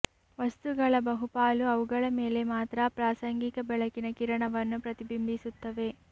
ವಸ್ತುಗಳ ಬಹುಪಾಲು ಅವುಗಳ ಮೇಲೆ ಮಾತ್ರ ಪ್ರಾಸಂಗಿಕ ಬೆಳಕಿನ ಕಿರಣವನ್ನು ಪ್ರತಿಬಿಂಬಿಸುತ್ತವೆ